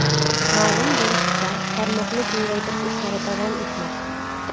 Ma’lum bo‘lishicha, tarmoqni kengaytirish ishlari davom etmoqda.